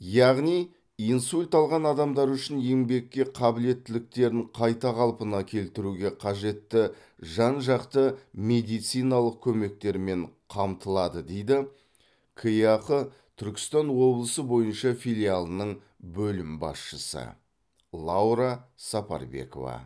яғни инсульт алған адамдар үшін еңбекке қабілеттіліктерін қайта қалпына келтіруге қажетті жан жақты медициналық көмектермен қамтылады дейді кеақ түркістан облысы бойынша филиалының бөлім басшысы лаура сапарбекова